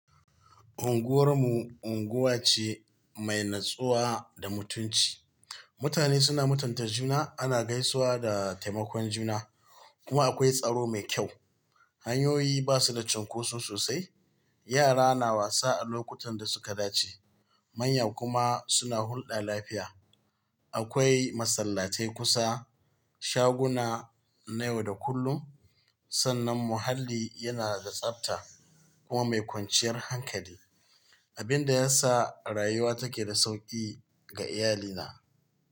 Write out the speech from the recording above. Unguwar mu unguwa ce mai natsuwa da mutunci. Mutane suna mutunta juna, ana gaisawa da taimakon juna kuma akwai tsaro mai kyau. Hanyoyi ba su da cunkoso sosai, yara na wasa a lokutan da suka dace manya kuma suna hulɗa lafiya. Akwai masallatai kusa, shaguna na yau da kullum, sannan muhalli yana da tsabta kuma mai kwanciyar hankali, abin da ya sa rayuwa take da sauƙi ga iyalina.